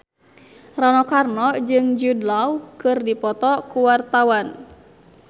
Rano Karno jeung Jude Law keur dipoto ku wartawan